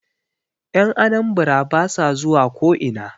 Yan Anambara ba sa zuwa ko'ina